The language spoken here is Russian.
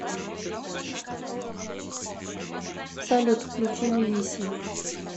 салют включи вивиси